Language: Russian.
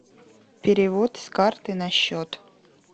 перевод с карты на счет